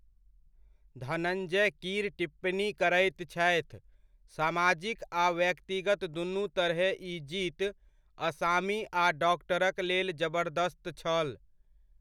धनञ्जय कीर टिप्पणी करैत छथि, सामाजिक आ व्यक्तिगत दुनु तरहे ई जीत, असामी आ डॉक्टरक लेल जबरदस्त छल।